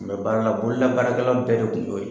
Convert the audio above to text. A kun bɛ baara la bololabaarakɛla bɛɛ de kun y'o ye.